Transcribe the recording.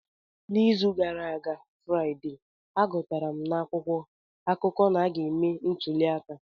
N'izu gara aga Fraide, agụtara m n'akwụkwọ akụkọ na a ga-eme ntuli aka.